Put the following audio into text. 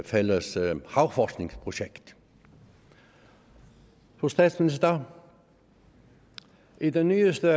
fælles havforskningsprojekt fru statsminister i den nyeste